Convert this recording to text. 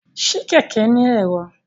Ṣe kẹkẹ ni ẹ̀rọ?